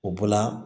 O bɔla